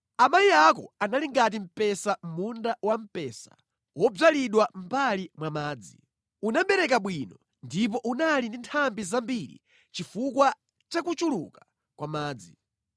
“ ‘Amayi ako anali ngati mpesa mʼmunda wamphesa wodzalidwa mʼmbali mwa madzi. Unabereka bwino ndipo unali ndi nthambi zambiri chifukwa cha kuchuluka kwa madzi.